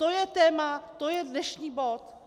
To je téma, to je dnešní bod.